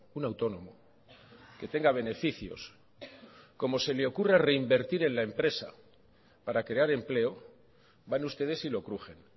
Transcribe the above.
un autónomo que tenga beneficios como se le ocurra reinvertir en la empresa para crear empleo van ustedes y lo crujen